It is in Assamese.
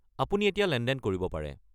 আপুনি এতিয়া লেনদেন কৰিব পাৰে।